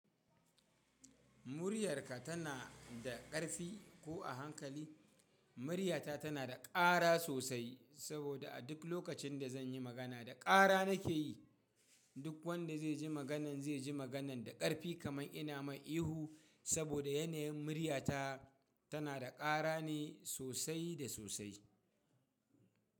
Muryarka tana da ƙarfi ko a hankali? Muryata tana da ƙarra sosai saboda a duk lokacin da zan yi magana, da ƙarra nake yi. Duk wanda zai ji maganan zai ji maganan da ƙarfi kamar ina mai ihu saboda yanayin muryata tana da ƙara ne sosai da sosai.